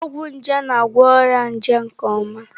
Ọgwụ nje na-agwọ ọrịa nje nke ọma.